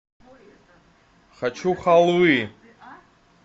хочу халвы